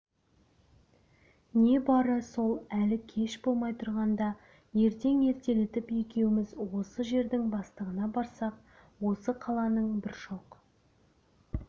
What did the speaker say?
не бары сол әлі кеш болмай тұрғанда ертең ертелетіп екеуміз осы жердің бастығына барсақ осы қаланың бір шоқ